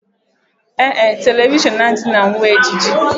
Ee e, telivishọn adịghị na uwe ejiji